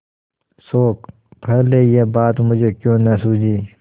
शोक पहले यह बात मुझे क्यों न सूझी